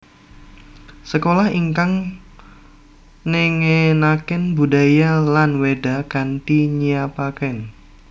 Sekolah ingkang nengenaken budaya lan Wéda kanthi nyiapaken